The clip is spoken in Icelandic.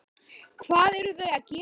Hvað eru þau að gera?